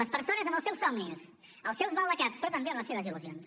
les persones amb els seus somnis els seus maldecaps però també amb les seves il·lusions